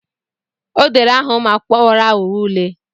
O dere aha ụmụakwụkwọ ghọrọ aghụghọ ule.